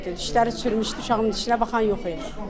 Dişləri çürümüşdü, uşağımın dişinə baxan yox idi.